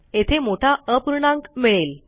येथे मोठा अपूर्णांक मिळेल